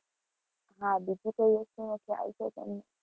બીજી કોઈ વસ્તુનો ખ્યાલ છે તમને?